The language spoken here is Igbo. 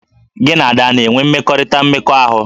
Gị na Ada a na-enwe mmekọrịta mmekọahụ?